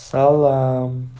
салам